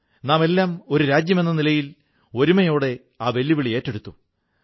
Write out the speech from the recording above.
നാമെല്ലാം ഒരു രാജ്യമെന്ന നിലയിൽ ഒരുമയോടെ വെല്ലുവിളി ഏറ്റെടുത്തു